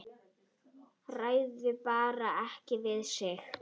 Ræður bara ekki við sig.